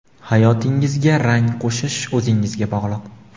Hayotingizga rang qo‘shish o‘zingizga bog‘liq.